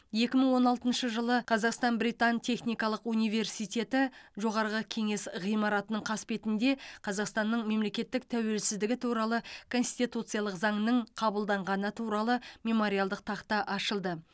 екі мың он алтыншы жылы қазақстан британ техникалық университеті жоғарғы кеңес ғимаратының қасбетінде қазақстанның мемлекеттік тәуелсіздігі туралы конституциялық заңның қабылданғаны туралы мемориалдық тақта ашылды